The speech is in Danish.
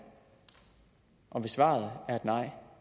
hvis svaret er nej